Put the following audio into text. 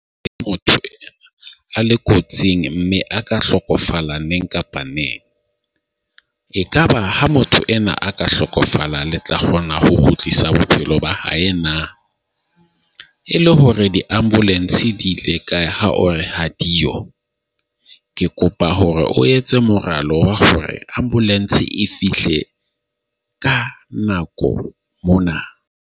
Motho a le kotsing, mme a ka hlokofala neng kapa neng ekaba ha motho enwa a ka hlokofala le tla kgona ho kgutlisa bophelo ba hae na? E le hore di-ambulance di ile kae ha o re ha diyo? Ke kopa hore o etse moralo hore ambulance e fihle ka nako mona.